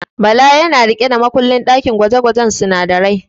Bala yana riƙe da makullin ɗakin gwaje-gwajen sunadarai.